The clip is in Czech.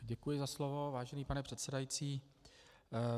Děkuji za slovo, vážený pane předsedající.